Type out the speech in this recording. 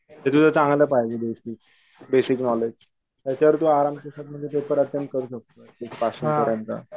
basic knowledge त्याच्यावरती आरामके साथ म्हणजे पेपर आपण करू शकतोय पासिंग पर्यंत